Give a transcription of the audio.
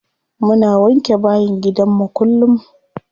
Muna wanke bayin gidanmu kullum.